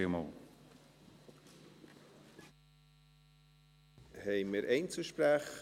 Wir kommen zu den Einzelsprechern.